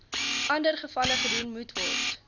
andergevalle gedoen moetword